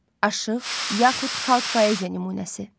Aşıq yaxud xalq poeziya nümunəsi.